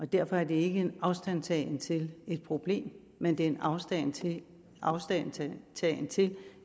derfor er det ikke en afstandtagen til problemet men det er en afstandtagen afstandtagen til